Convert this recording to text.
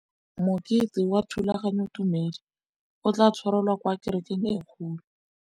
Mokete wa thulaganyôtumêdi o tla tshwarelwa kwa kerekeng e kgolo.